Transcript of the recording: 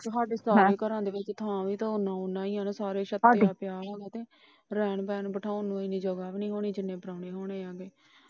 ਤੁਹਾਡੇ ਚਾਰ ਘਰਾਂ ਚ ਥਾਂ ਵੀ ਤਾਂ ਉਹਨਾਂ ਉਹਨਾਂ ਈ ਏ ਆ ਨਾ। ਸਾਰਿਆਂ ਛੱਤਿਆਂ ਪਿਆ ਨਾ। ਰਹਿਣ ਬਹਿਣ ਨੂੰ ਬੈਠਾਉਣ ਨੂੰ ਏਨੀ ਜਗਹ ਵੀ ਨਹੀਂ ਹੋਣੀ ਜਿੰਨੇ ਪ੍ਰਾਹੁਣੇ ਆਣੇ।